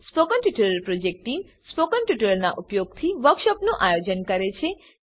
spoken tutorial project team spoken ટ્યુટોરીયલોનાં ઉપયોગથી વર્કશોપોનું આયોજન કરે છે